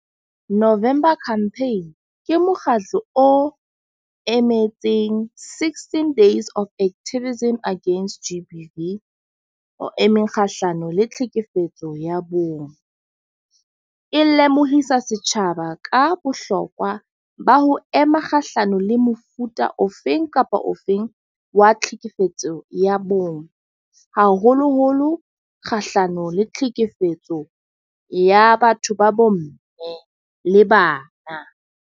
November campaign, ke mokgatlo o emetseng sixteen days of activism agency against G_B_V. O emeng kgahlano le tlhekefetso ya bong. E lemohisa setjhaba ka bohlokwa ba ho ema kgahlano le mofuta ofeng kapa ofeng wa tlhekefetso ya bong. Haholoholo kgahlano le tlhekefetso ya batho ba bo mme le bana.